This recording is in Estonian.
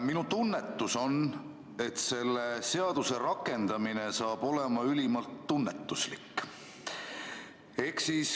Minu tunnetus on, et selle seaduse rakendamine saab olema ülimalt tunnetuslik.